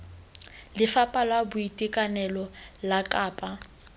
lefapha la boitekanelo la kapa